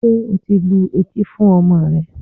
Ṣé o ti lu etí fún ọmọ rẹ?